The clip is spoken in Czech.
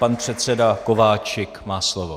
Pan předseda Kováčik má slovo.